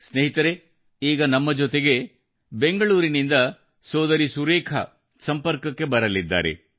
ಸ್ನೇಹಿತರೆ ಈಗ ನಮ್ಮ ಜೊತೆಗೆ ಬೆಂಗಳೂರಿನಿಂದ ಸೋದರಿ ಸುರೇಖಾ ಸಂಪರ್ಕಕ್ಕೆ ಬರಲಿದ್ದಾರೆ